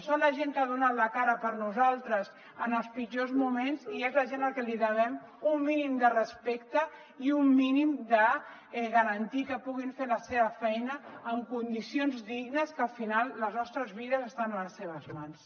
són la gent que ha donat la cara per nosaltres en els pitjors moments i és la gent a qui li devem un mínim de respecte i un mínim de garantir que puguin fer la seva feina amb condicions dignes que al final les nostres vides estan a les seves mans